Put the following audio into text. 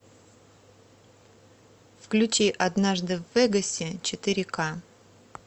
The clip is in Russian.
включи однажды в вегасе четыре ка